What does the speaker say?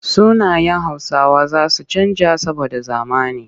Sunayen Hausawa za su canja saboda zamani.